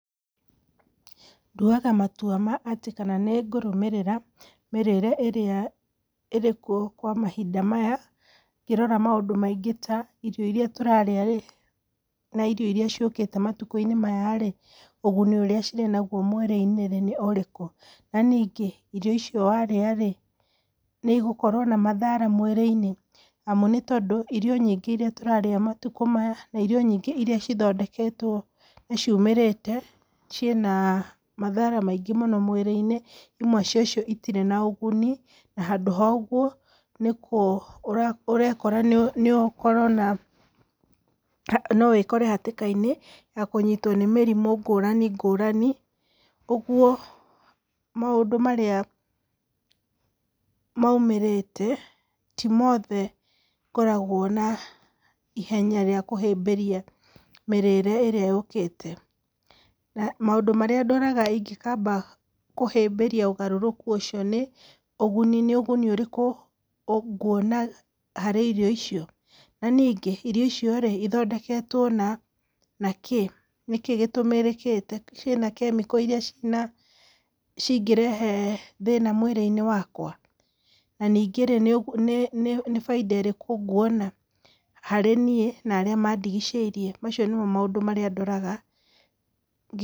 Nduaga matua ma atĩ kana nĩ ngũrũmĩrĩra mĩrĩre ĩria ĩrĩ kuo kwa mahinda maya, ngĩrora maũndũ maingĩ ta irio irĩa tũrarĩa rĩ, na irio irĩa ciũkĩte matukũ-inĩ maya rĩ, ũguni ũrĩa cirĩ naguo mwĩrĩ-inĩ nĩ ũrĩkũ? Na ningĩ icio warĩa rĩ nĩ igũkorwo na mathara mwĩrĩ-inĩ? Amu nĩ tondũ irio nyingĩ irĩa tũrarĩa matukũ maya na irio nyingĩ irĩa cithondeketwo na ciumĩrĩte, ciĩna mathara maingĩ mũno mwĩrĩ-inĩ. Imwe cia icio citirĩ na ũguni, na handũ ha ũguo ũrekora, no wĩkore hatĩka-inĩ ya kũnyitwo nĩ mĩrimũ ngũrani ngũrani. Ũguo maũndũ marĩa moimĩrĩte, ti mothe ngoragwo na ihenya rĩa kũhĩmbĩria mĩrĩre ĩrĩa yũkĩte. Na maũndũ marĩa ndoraga ingĩkamba kũhĩmbĩria ũgarũrũku ũcio nĩ; ũguni, nĩ ũguni ũrĩkũ nguona harĩ irio icio? Na ningĩ, irio icio rĩ ithondeketwo na kĩ? Nĩ kĩ gĩtũmĩrĩkĩte? Ciĩna chemical irĩa cina cingĩrehe thĩna mwĩrĩ-inĩ wakwa? Na ningĩ rĩ, nĩ baita ĩrĩkũ nguona harĩ niĩ na arĩa mandigicĩirie? Macio nĩmo maũndũ marĩa ndoraga.